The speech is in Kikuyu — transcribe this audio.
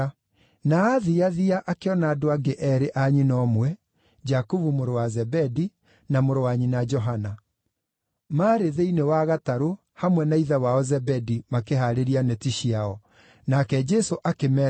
Na aathiathia akĩona andũ angĩ eerĩ a nyina ũmwe, Jakubu mũrũ wa Zebedi, na mũrũ wa nyina Johana. Maarĩ thĩinĩ wa gatarũ hamwe na ithe wao Zebedi makĩhaarĩria neti ciao. Nake Jesũ akĩmeeta,